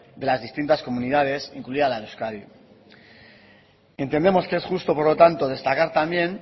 de las distintas comunidades incluida la de euskadi entendemos que es justo por lo tanto destacar también